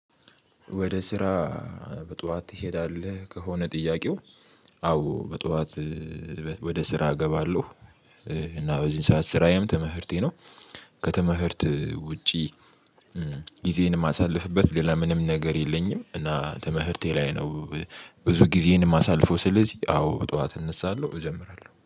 ወደ ስራ በጧት ትሄዳለህ ከሆነ ጥያቄው? አዎ በጧት ወደስራ እገባለሁ። እና በዚህ ሰዓት ስራዬም ተመህርቴ ነው። ከተመህርት ውጪ። ጊዜዬን የማሳልፍበት ሌላ ለምንም ነገር የለኝም እና ተመህርቴ ላይ ነው። ብዙ ጊዜን ማሳልፈው ስለዚህ አዎ በጠዋት እነሳለሁ እጀምራለሁ